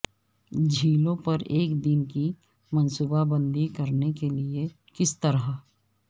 جھیلوں پر ایک دن کی منصوبہ بندی کرنے کے لئے کس طرح